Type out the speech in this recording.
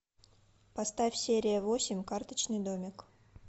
поставь серия восемь карточный домик